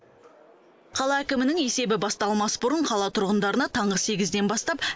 қала әкімінің есебі басталмас бұрын қала тұрғындарына таңғы сегізден бастап